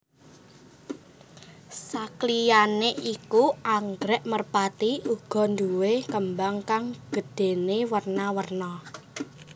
Sakliyané iku anggrèk merpati uga nduwé kembang kang gedhéné werna werna